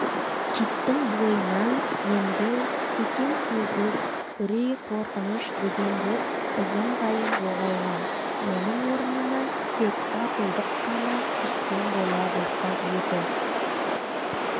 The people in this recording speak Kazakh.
киттің бойынан енді секем-сезік үрей-қорқыныш дегендер ізім-ғайым жоғалған оның орнына тек батылдық қана үстем бола бастап еді